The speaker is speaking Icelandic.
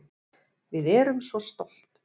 Við erum svo stolt